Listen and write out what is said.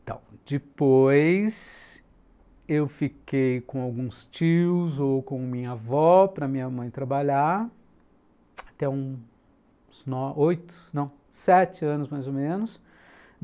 Então, depois eu fiquei com alguns tios ou com minha avó para minha mãe trabalhar, até uns oito, não, sete anos mais ou menos.